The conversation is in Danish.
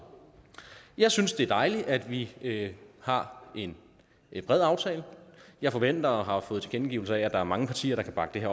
jeg synes det er dejligt at vi har en bred aftale jeg forventer og har fået tilkendegivelser af at der er mange partier der kan bakke